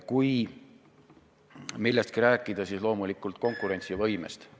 Kui millestki rääkida, siis loomulikult konkurentsivõimest.